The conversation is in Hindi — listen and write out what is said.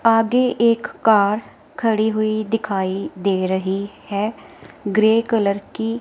आगे एक कार खड़ी हुई दिखाई दे रही है ग्रे कलर की--